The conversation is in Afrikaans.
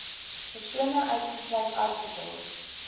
persone uitgesluit artikel